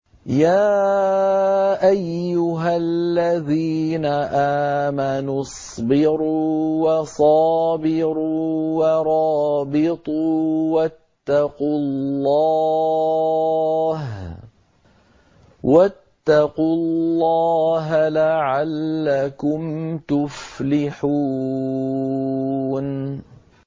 يَا أَيُّهَا الَّذِينَ آمَنُوا اصْبِرُوا وَصَابِرُوا وَرَابِطُوا وَاتَّقُوا اللَّهَ لَعَلَّكُمْ تُفْلِحُونَ